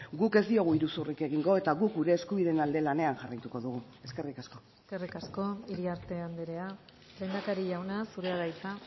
guk ez diogu iruzurrik egingo eta guk gure eskubideen alde lanean jarraituko dugu eskerrik asko eskerrik asko iriarte andrea lehendakari jauna zurea da hitza